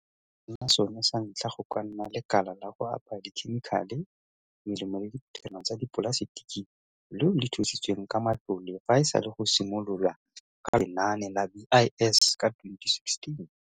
se nnile lesego go nna sone sa ntlha go ka nna lekala la go apaya dikhemikhale, melemo le diphuthelwana tsa dipolasetiki leo le thusitsweng ka matlole fa e sale go simolo lwa ka Lenaane la BIS ka 2016.